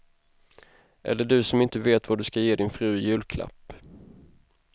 Eller du som inte vet vad du ska ge din fru i julklapp.